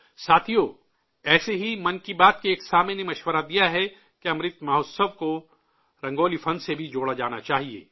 ساتھیو، ایسے ہی 'من کی بات' کے ایک سامع نے مشورہ دیا ہے کہ امرت مہوتسو کو رنگولی کے فن سے بھی جوڑا جانا چاہیے